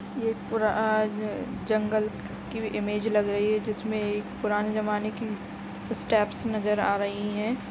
ये एक पूरा आज जंगल की इमेज लग रही है जिसमे एक पुराने जमाने की स्टेप्स नज़र आ रही है।